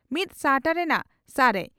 ᱢᱤᱛ ᱥᱟᱦᱴᱟ ᱨᱮᱱᱟᱜ ᱥᱟᱨᱮᱡ